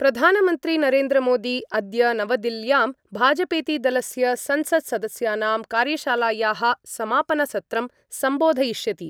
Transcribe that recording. प्रधानमन्त्री नरेन्द्रमोदी अद्य नवदिल्ल्यां भाजपेति दलस्य संसत्सदस्यानां कार्यशालायाः समापनसत्रं सम्बोधयिष्यति।